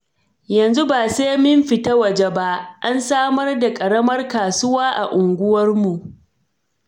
Yanzu ba sai mun fita waje ba, an samar da ƙaramar kasuwa a unguwarmu.